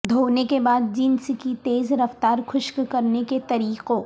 دھونے کے بعد جینس کی تیز رفتار خشک کرنے کے طریقوں